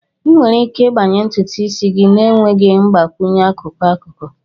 Ị nwere ike ịgbanye ntutu isi gị na-enweghị ịgbakwunye akụkụ-akụkụ.